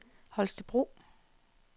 Holstebro